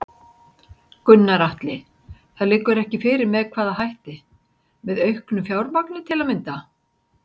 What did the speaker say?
Gunnar Atli: Það liggur ekki fyrir með hvaða hætti, með auknu fjármagn til að mynda?